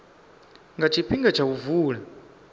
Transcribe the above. nga tshifhinga tsha u vula